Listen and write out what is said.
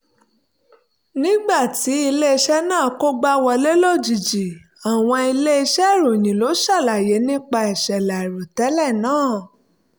nígbà tí ilé-iṣẹ́ náà kógbá wọlé lójijì àwọn ilé-iṣẹ́ ìròyìn ló ń ṣàlàyé nípa ìṣẹ̀lẹ̀ àìròtẹ́lẹ̀ náà